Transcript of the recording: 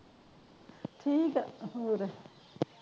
ਠੀਕ ਆ ਹੋਰ